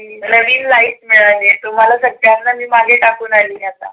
नविन लाईफ मिळाली आहे तुम्हाला सगळ्यांना मी मागेटाकून आली आता.